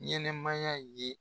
Ɲɛnɛmaya ye.